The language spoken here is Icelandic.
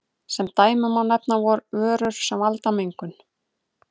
Sem dæmi má nefna vörur sem valda mengun.